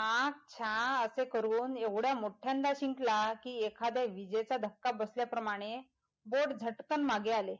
ऍ ख्या असे करून एवढ्या मोठ्यांदा शिकला कि एखाद्या विजेचा धक्का बसल्या प्रमाणे बोट धटकण मागे आले,